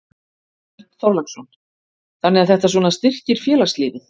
Björn Þorláksson: Þannig að þetta svona styrkir félagslífið?